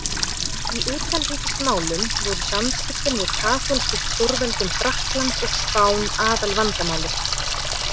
Í utanríkismálum voru samskiptin við katólsku stórveldin Frakkland og Spán aðalvandamálið.